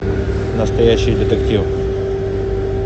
настоящий детектив